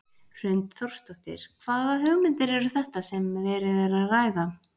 Hrund Þórsdóttir: Hvaða hugmyndir eru þetta sem verið er að ræða?